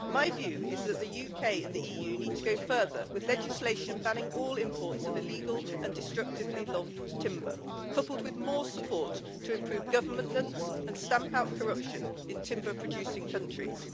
My view is that the UK and the EU need to go further with legislation banning all imports of illegal and destructively logged timber, coupled with more support to improve governance and stamp out corruption in timber producing countries.